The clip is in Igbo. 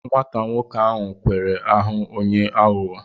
Nwata nwoke ahụ kwara ahụ onye aghụghọ.